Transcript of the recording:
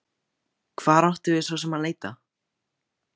Hvert áttum við svo sem að leita?